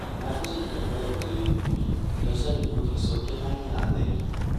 Na fi son tambayar direbobi don sanin mafi sauƙin hanya a gari.